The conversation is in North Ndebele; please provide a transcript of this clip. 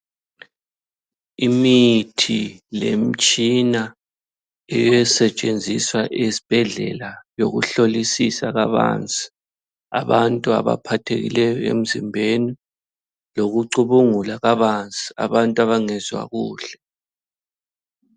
Imithi lemtshina esetshenziswa esibhedlela yokuhlolisisa kabanzi abantu abaphathekileyo emzimbeni lokucubungula kabanzi abantu abangezwa kuhle.